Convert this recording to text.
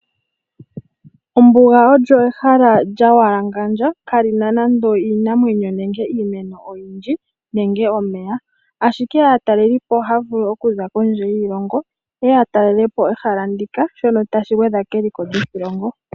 Ombuga olyo ehala lya mbwalangandja, kali na nando iinamwenyo nenge iimeno oyindji nenge omeya, ashike aataleli po ohaya vulu oku za kondje yiilongo, yeye ya talele po ehala ndika, shono tashi gwedha keliko lyoshilongo.